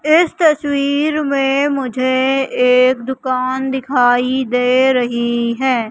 इस तस्वीर में मुझे एक दुकान दिखाई दे रही है।